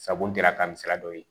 Sabu n dira ka nin sira dɔw ye